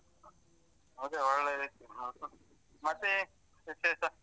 ಅದೆ ಒಳ್ಳೆದಿತ್ತು ಮತ್ತೆ ವಿಶೇಷ?